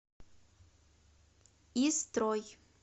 истрой